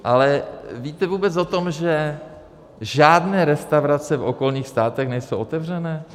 Ale víte vůbec o tom, že žádné restaurace v okolních státech nejsou otevřené?